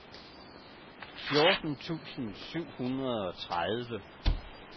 fjorten tusind syv hundrede og tredive